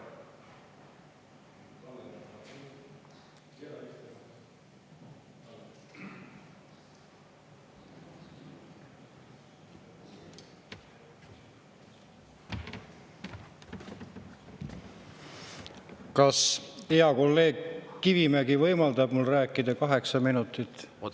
Kas hea kolleeg Kivimägi võimaldab mul rääkida kaheksa minutit?